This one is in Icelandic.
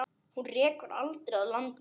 Hana rekur aldrei að landi.